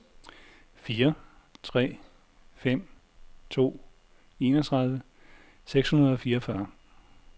fire tre fem to enogtredive seks hundrede og fireogfyrre